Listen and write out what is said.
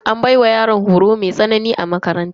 An baiwa yaran horo mai tsanani a makaranta.